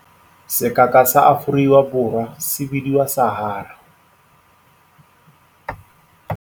Sekaka sa Aforiwa Borwa se bidiwa Sahara.